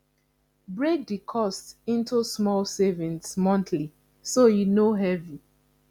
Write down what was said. break the cost into small savings monthly so e no heavy